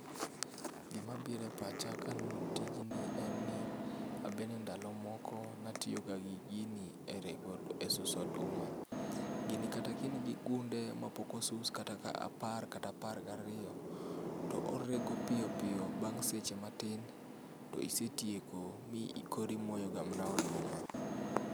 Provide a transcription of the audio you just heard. Gima biro e pacha kaneno tijni en ni abend endalo moko natiyo ga gi gini e rego,e susuo oduma. Gini kata ka in gi gunde maok osus makata apar kata apar gariyo to orego piyo piyo bang' seche matin to isetieko in koro imoyo ga mana oduma